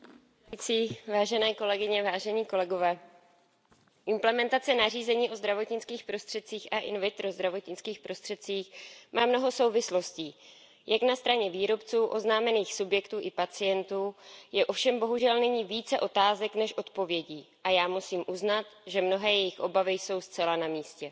Paní předsedající, vážené kolegyně, vážení kolegové, implementace nařízení o zdravotnických prostředcích a in vitro zdravotnických prostředcích má mnoho souvislostí. Jak na straně výrobců, oznámených subjektů i pacientů je ovšem bohužel nyní více otázek než odpovědí a já musím uznat, že mnohé jejich obavy jsou zcela na místě.